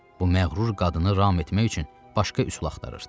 Bu məğrur qadını ram etmək üçün başqa üsul axtarırdı.